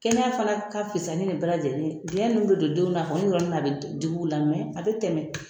Kɛnɛya fana ka fisa ni bɛɛ lajɛlen biyɛn minnu bɛ don denw na a kɔni yɔrɔ nin na a bɛ digi u la , mɛn a bɛ tɛmɛ.